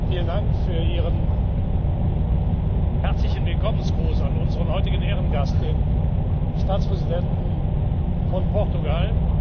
Vielen Dank für Ihren herzlichen Willkommensgruß an unseren heutigen Ehrengast, den Staatspräsidenten von Portugal.